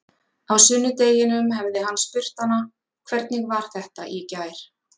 Á sunnudeginum hefði hann spurt hana: Hvernig var þetta í gær?